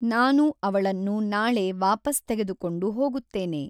ನಾನು ಅವಳನ್ನು ನಾಳೆ ವಾಪಸ್‌ ತೆಗೆದುಕೊಂಡು ಹೋಗುತ್ತೇನೆ!